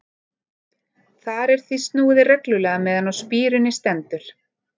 Þar er því snúið reglulega meðan á spíruninni stendur.